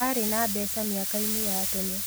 Arĩ na mbeca mĩaka-inĩ ya tene